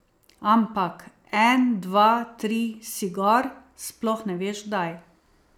Ampak en, dva, tri si gor, sploh ne veš kdaj.